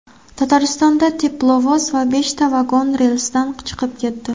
Tataristonda teplovoz va beshta vagon relsdan chiqib ketdi.